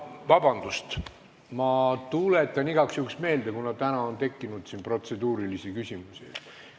Vabandust, ma tuletan igaks juhuks ka protseduuri meelde, kuna täna on siin protseduurilisi küsimusi tekkinud.